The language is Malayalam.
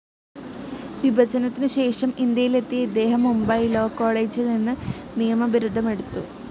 വിഭജനത്തിനുശേഷം ഇന്ത്യയിലെത്തിയ ഇദ്ദേഹം മുംബൈ ലാവ്‌ കോളേജിൽനിന്ന്‌ നിയമബിരുദമെടുത്തു.